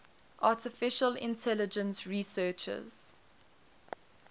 artificial intelligence researchers